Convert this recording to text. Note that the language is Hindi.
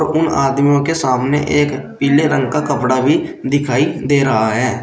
उन आदमियों के सामने एक पीले रंग का कपड़ा भी दिखाई दे रहा है।